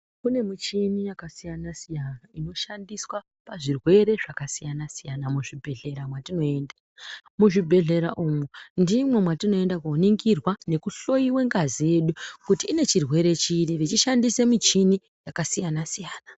Kune muchini yakasiyana siyana inoshandiswa pazvirwere zvakasiyana siyana muzvibhedhlera mwatinoenda. Muzvibhedhlera umu ndimwo mwatinoenda koningirwa nekuhloyiwe ngazi yedu, kuti ine chirwere chiri vechishandise michini yakasiyana siyana.